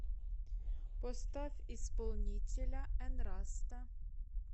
поставь исполнителя энраста